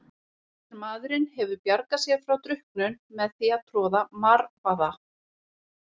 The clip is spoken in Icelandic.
Margur maðurinn hefur bjargað sér frá drukknun með því að troða marvaða.